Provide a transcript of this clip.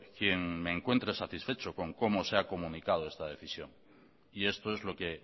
quien me encuentre satisfecho con cómo se ha comunicado esta decisión y esto es lo que